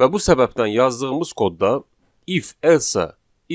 Və bu səbəbdən yazdığımız kodda if, else,